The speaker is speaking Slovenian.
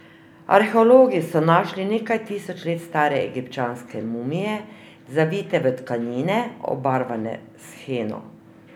Arheologi so našli nekaj tisoč let stare egipčanske mumije, zavite v tkanine, obarvane s heno.